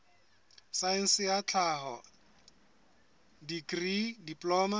saense ya tlhaho dikri diploma